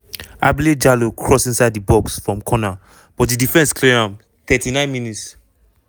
ablie jallow cross inside di box from corner but di defence clear am 39 mins-